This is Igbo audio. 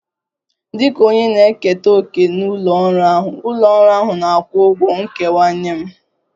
Dịka onye na-eketa òkè nke ụlọ ọrụ ahụ, ụlọ ọrụ ahụ na-akwụ ụgwọ nkewa nye m